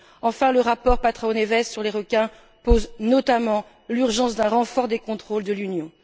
Enfin, le rapport Patrão Neve sur les requins pose notamment l'urgence d'un renfort des contrôles de l'Union.